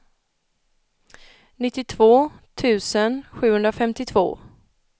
nittiotvå tusen sjuhundrafemtiotvå